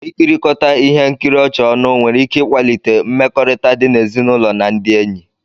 Ikirikota ihe nkiri ọchị ọnụ nwere ike ịkwalite mmekọrịta di n'ezinụlọ na ndị enyi